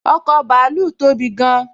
ọkọ̀ bàálù tóbi gán